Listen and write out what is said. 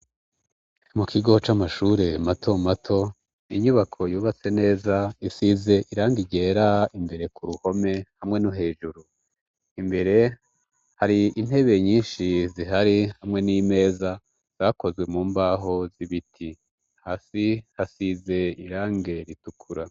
mu kigo c'amashure mato mato inyubako yubatse neza isize irangi ryera imbere ku ruhome hamwe n'uhejuru imbere hari intebe nyinshi zihari hamwe n'imeza zakozwe mu mbaho z'ibiti hasi hasize irangi ritukura